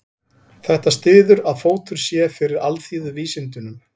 Þetta styður að fótur sé fyrir alþýðuvísindunum.